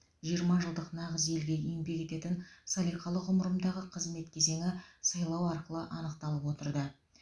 жиырма жылдық нағыз елге еңбек ететін салиқалы ғұмырымдағы қызмет кезеңі сайлау арқылы анықталып отырды